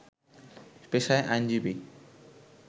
পেশায় আইনজীবী